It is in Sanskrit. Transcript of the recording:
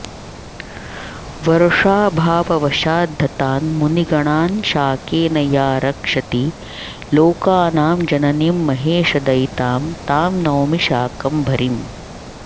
वर्षाभाववशाद्धतान्मुनिगणान्शाकेन या रक्षति लोकानां जननीं महेशदयितां तां नौमि शाकम्भरीम्